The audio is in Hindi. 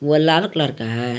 वो लाल कलर का है।